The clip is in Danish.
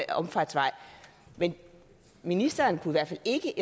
omfartsvej at ministeren i hvert fald ikke